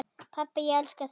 Pabbi, ég elska þig.